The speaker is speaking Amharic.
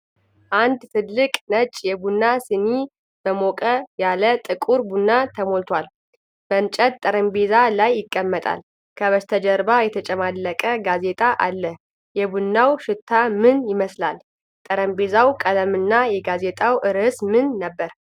አንድ ትልቅ ነጭ የቡና ሲኒ በሞቅ ያለ ጥቁር ቡና ተሞልቷል። በእንጨት ጠረጴዛ ላይ ይቀመጣል፣ ከበስተጀርባ የተጨማለቀ ጋዜጣ አለ። የቡናው ሽታ ምን ይመስላል? የጠረጴዛው ቀለምና የጋዜጣው ርዕስ ምን ነበር?